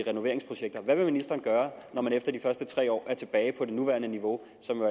renoveringsprojekter hvad vil ministeren gøre når man efter de første tre år er tilbage på det nuværende niveau som